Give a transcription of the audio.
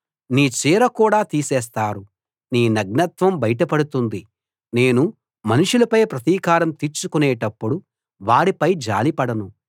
నీ చీర కూడా తీసేస్తారు నీ నగ్నత్వం బయటపడుతుంది నేను మనుషులపై ప్రతీకారం తీర్చుకునేటప్పుడు వారిపై జాలిపడను